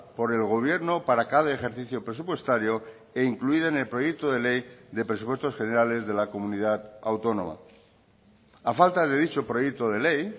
por el gobierno para cada ejercicio presupuestario e incluida en el proyecto de ley de presupuestos generales de la comunidad autónoma a falta de dicho proyecto de ley